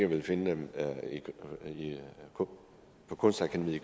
vil finde dem på kunstakademiet i